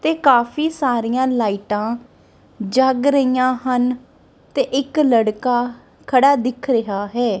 ਤੇ ਕਾਫੀ ਸਾਰੀਆਂ ਲਾਈਟਾਂ ਜੱਗ ਰਹੀਆਂ ਹਨ ਤੇ ਇੱਕ ਲੜਕਾ ਖੜਾ ਦਿਖ ਰਿਹਾ ਹੈ।